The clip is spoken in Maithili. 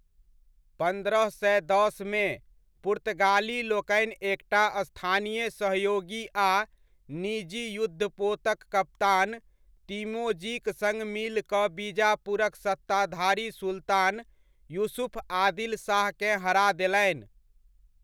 पन्द्रह सए दसमे, पुर्तगालीलोकनि एकटा स्थानीय सहयोगी आ निजी युद्धपोतक कप्तान तिमोजीक सङ्ग मिल कऽ बीजापुरक सत्ताधारी सुल्तान यूसुफ आदिल शाहकेँ हरा देलनि।